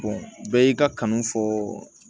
bɛɛ y'i ka kanu fɔ